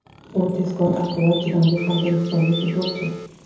U tezkor, baquvvat, chidamli hamda intizomli futbolchi.